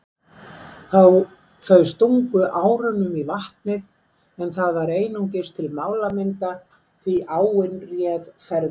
Þau stungu árunum í vatnið en það var einungis til málamynda því áin réð ferðinni.